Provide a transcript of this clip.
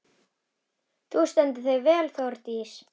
Þú stendur þig vel, Þórdís!